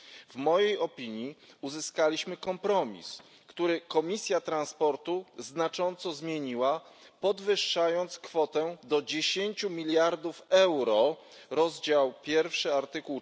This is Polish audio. W mojej opinii uzyskaliśmy kompromis, który Komisja Transportu znacząco zmieniła, podwyższając kwotę do 10 miliardów euro a czerpie te